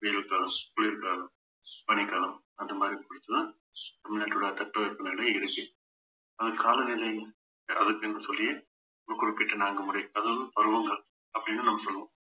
வெயில் காலம் குளிர்காலம் பனிக்காலம் அந்த மாதிரிதான் போயிட்டுதான் தமிழ்நாட்டோட தட்பவெப்பநிலை இருக்கு அது காலநிலை அதுக்குன்னு சொல்லி ஒரு குறிப்பிட்ட நான்கு முறை அதாவது பருவங்கள் அப்படின்னு நம்ம சொல்லுவோம்